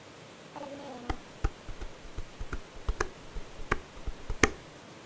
Farðu með hana.